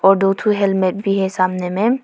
और दो ठो हेलमेट भी है सामने में।